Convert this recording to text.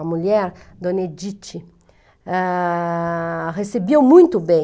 A mulher, Dona Edith, ah, recebia muito bem.